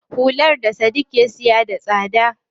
Hular da Sadiq ya saka da tsada.